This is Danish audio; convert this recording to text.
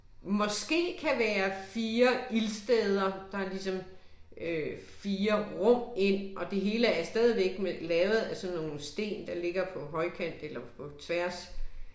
Måske kan være 4 ildsteder, der ligesom øh 4 rum ind, og det hele er stadigvæk lavet af sådan nogle sten der ligesom ligger på højkant eller på tværs